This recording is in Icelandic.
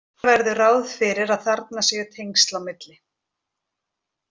Gera verður ráð fyrir að þarna séu tengsl á milli.